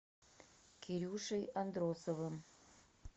кирюшей андросовым